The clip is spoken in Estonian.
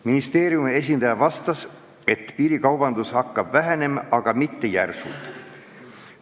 Ministeeriumi esindaja vastas, et piirikaubandus hakkab vähenema, aga mitte järsult.